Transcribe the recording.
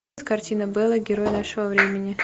картина бэла герой нашего времени